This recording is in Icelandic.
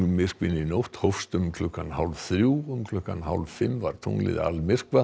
tunglmyrkvinn í nótt hófst um klukkan hálf þrjú um klukkan hálf fimm var tunglið